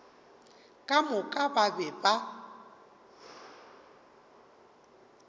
ka moka ba be ba